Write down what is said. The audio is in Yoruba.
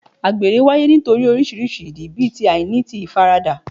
Àgbèrè wáyé nítorí oríṣiríṣi ìdí bí àìní ti ìfaradà